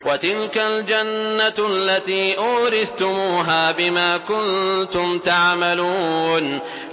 وَتِلْكَ الْجَنَّةُ الَّتِي أُورِثْتُمُوهَا بِمَا كُنتُمْ تَعْمَلُونَ